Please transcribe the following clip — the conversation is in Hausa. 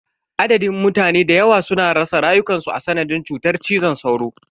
Adadin mutane dayawa suna rasa rayukansu a sanadin cutar cizon sauro.